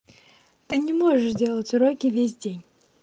ты не можешь делать уроки весь день